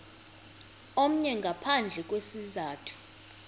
omnye ngaphandle kwesizathu